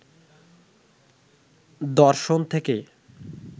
দর্শন থেকে